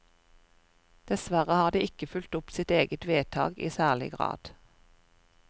Dessverre har de ikke fulgt opp sitt eget vedtak i særlig grad.